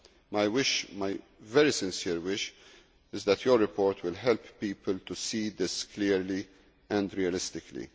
My wish, my very sincere wish, is that your report will help people to see this clearly and realistically.